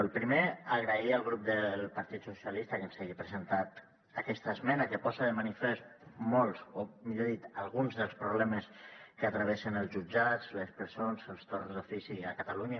el primer agrair al grup del partit socialistes que ens hagi presentat aquesta esmena que posa de manifest molts o millor dit alguns dels problemes que travessen els jutjats les presons els torns d’ofici a catalunya